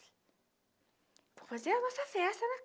Foi fazer a nossa festa, né?